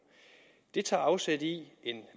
det tager afsæt i en